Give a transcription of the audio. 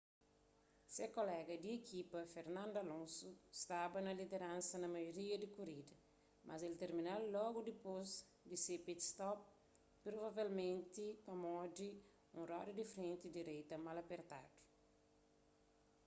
se kolega di ekipa fernando alonso staba na lideransa na maioria di korida mas el termina-l logu dipôs di se pit-stop provavelmenti pamodi un roda di frenti direita mal apertadu